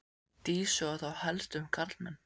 Dísu og þá helst um karlmenn.